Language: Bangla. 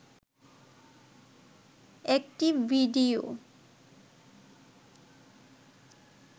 একটি ভিডিও